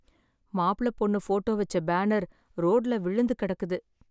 மாப்ள பொண்ணு போட்டோ வச்ச பேனர் ரோட்ல விழுந்து கிடக்குது